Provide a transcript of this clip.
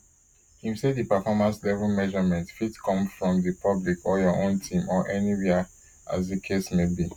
im say di perfomance level measurement fit come from di public your own team or anywia as di case may be